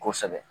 Kosɛbɛ